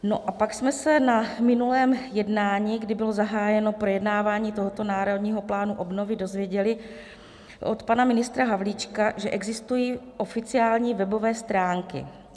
No a pak jsme se na minulém jednání, kdy bylo zahájeno projednávání tohoto Národního plánu obnovy, dozvěděli od pana ministra Havlíčka, že existují oficiální webové stránky.